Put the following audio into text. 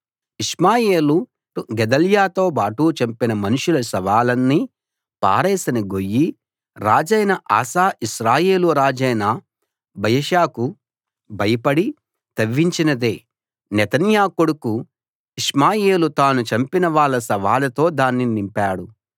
ఇష్మాయేలు గెదల్యాతోబాటు చంపిన మనుషుల శవాలన్నీ పారేసిన గొయ్యి రాజైన ఆసా ఇశ్రాయేలు రాజైన బయషాకు భయపడి తవ్వించినదే నెతన్యా కొడుకు ఇష్మాయేలు తాను చంపిన వాళ్ళ శవాలతో దాన్ని నింపాడు